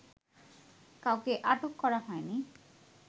কাউকে আটক করা হয়নি